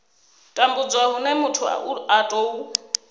tambudzwa hune muthu a tou